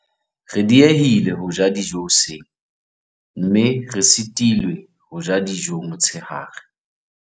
re diehile ho ja dijo hoseng mme re sitilwe ho ja dijo motshehare